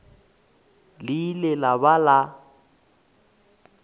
le ile la ba la